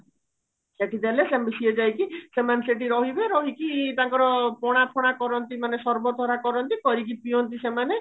ସେଠି ଦେଲେ ସିଏ ଯାଇକି ସେମାନେ ସେଠି ରହିବେ ରହିକି ତାଙ୍କର ପଣା ଫଣା କରନ୍ତି ମାନେ ସର୍ବତ କରନ୍ତି କରିକି ପିଅନ୍ତି ସେମାନେ